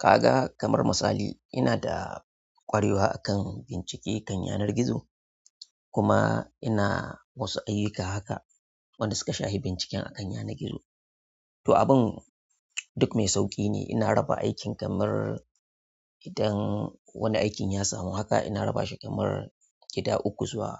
Kaga kamar misali ina da ƙwarewa a kan bincike kan yanar gizo kuma ina wasu ayyuka haka wanda suka shahi binciken akan yanar gizo to abun duk mai sauƙi ne. Ina raba aikin kamar idan wani aikin ya samu haka ina raba shi kamar gida uku zuwa,